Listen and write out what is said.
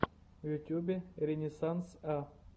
в ютюбе ренессанс а